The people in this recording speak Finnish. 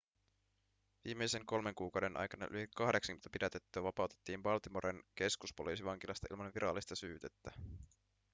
viimeisen kolmen kuukauden aikana yli 80 pidätettyä vapautettiin baltimoren keskuspoliisivankilasta ilman virallista syytettä